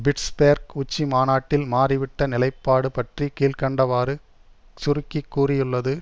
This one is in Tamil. பிட்ஸ்பேர்க் உச்சி மாநாட்டில் மாறிவிட்ட நிலைப்பாடு பற்றி கீழ் கண்டவாறு சுருக்கி கூறியுள்ளது